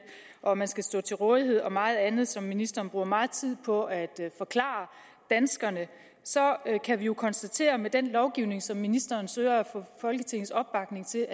og man skal stå til rådighed og meget andet som ministeren bruger meget tid på at forklare danskerne så kan vi jo konstatere at den lovgivning som ministeren søger at få folketingets opbakning til